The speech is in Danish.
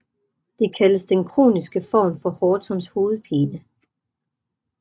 Det kaldes den kroniske form for Hortons hovedpine